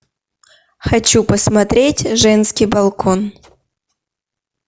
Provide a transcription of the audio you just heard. хочу посмотреть женский балкон